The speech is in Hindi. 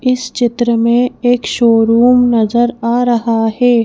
इस चित्र में एक शोरूम नजर आ रहा है।